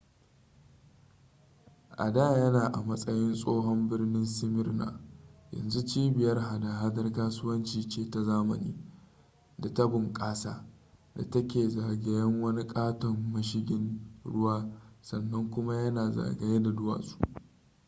a da yana a matsayin tsohon birnin smyrna yanzu cibiyar hada-hadar kasuwanci ce ta zamani da ta bnƙasa da ta ke zagayen wani ƙaton mashigin ruwa sannan kuma yana zagaye da duwatsu